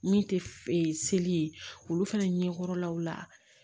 Min tɛ e seli ye olu fana ɲɛkɔrɔlaw la